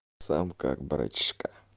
сам как братишка